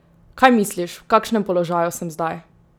Kaj misliš, v kakšnem položaju sem zdaj?